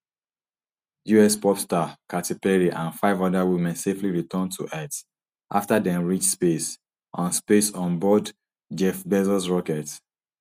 us pop star katy perry and five oda women safely return to earth afta dem reach space on space on board jeff bezos rocket